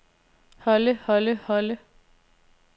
holde holde holde